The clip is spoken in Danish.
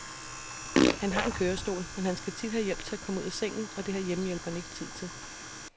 Han har en kørestol, men han skal have hjælp til at komme ud af sengen, og det har hjemmehjælperen ikke tid til.